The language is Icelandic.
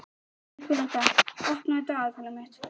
Nikoletta, opnaðu dagatalið mitt.